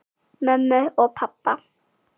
Mömmu og pabba!